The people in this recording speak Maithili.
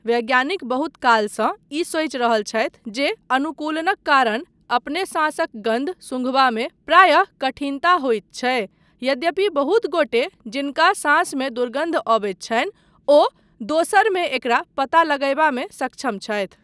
वैज्ञानिक बहुत कालसँ ई सोचि रहल छथि जे अनुकूलनक कारण अपने साँसक गन्ध सूंघबामे प्रायः कठिनता होइत छै, यद्यपि बहुत गोटे जिनका साँसमे दुर्गन्ध आबैत छनि ओ दोसरमे एकरा पता लगायबामे सक्षम छथि।